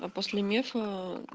а после мефа